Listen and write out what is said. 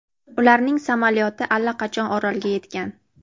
ularning samolyoti allaqachon orolga yetgan.